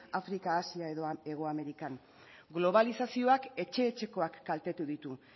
afrika asia edo hegoamerikan globalizazioak etxe etxekoak kaltetu ditu